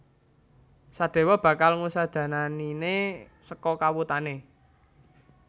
Sadéwa bakal ngusadananiné saka kawutané